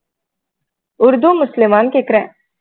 உருது முஸ்லிமான்னு கேட்கிறேன்